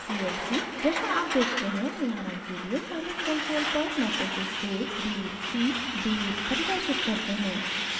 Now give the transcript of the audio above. जैसा आप देखते हैं उदाहरण के लिए scilab कंसोल पर matrices a b c d परिभाषित करते हैं